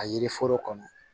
A yiri foro kɔnɔ